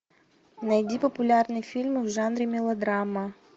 найди популярные фильмы в жанре мелодрама